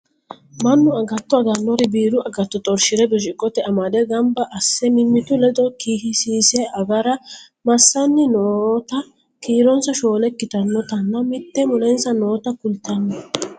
mannu agatto agannori biiru agatto xorshire birciqqote amade ganba asse mimmitu ledo kisiise agara massanni noota kiirose shoole ikkitannotinna mitte mulensa noota kultanno